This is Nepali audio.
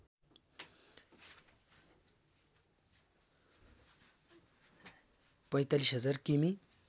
४५ हजार किमि